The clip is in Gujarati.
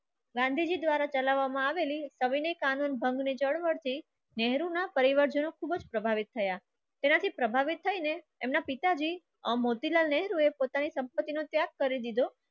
ગાંધીજી દ્વારા ચલાવવામાં આવેલી કવિની કાનૂનભંગ ને જળવર્તી નેહરુના પરિવર્તનો ખૂબ જ પ્રભાવિત થયા તેનાથી પ્રભાવિત થઈને એમના પિતાજી આ મોતીલાલ નેહરુ એ પોતાની સંપત્તિનો ત્યાગ કરી દીધો.